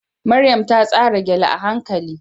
Maryam ta tsara gele a hankali